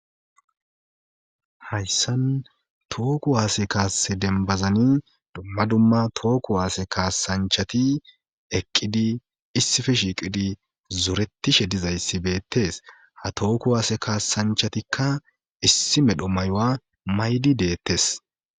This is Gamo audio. hayssan tooku waase kaase denbazani dumma dumma tooku waase kaasanchati eqqidi issife shiiqidi zoretishe dizayssi beettes ha tooku waase kaasanchatikka issi medho mayowa maydi deettes